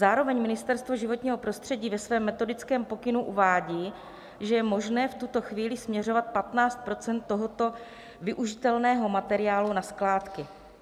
Zároveň Ministerstvo životního prostředí ve svém metodickém pokynu uvádí, že je možné v tuto chvíli směřovat 15 % tohoto využitelného materiálu na skládky.